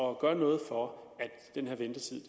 at gøre noget for at den her ventetid